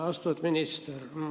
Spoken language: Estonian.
Austatud minister!